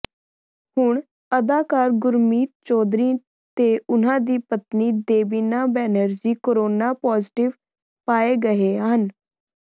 ਹੁਣ ਅਦਾਕਾਰ ਗੁਰਮੀਤ ਚੌਧਰੀ ਤੇ ਉਨ੍ਹਾਂ ਦੀ ਪਤਨੀ ਦੇਬਿਨਾ ਬੈਨਰਜੀ ਕੋਰੋਨਾ ਪਾਜ਼ੇਟਿਵ ਪਾਏ ਗਏ ਹਨ